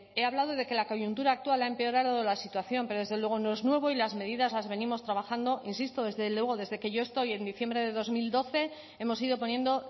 he hablado de que la coyuntura actual ha empeorado la situación pero desde luego no es nuevo y las medidas las venimos trabajando insisto desde luego desde que yo estoy en diciembre de dos mil doce hemos ido poniendo